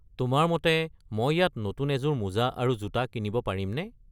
তোমাৰ মতে মই ইয়াত নতুন এযোৰ মোজা আৰু জোতা কিনিব পাৰিমনে?